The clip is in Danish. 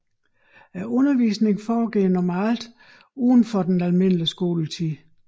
Undervisningen foregår normalt udenfor den almindelige skoletid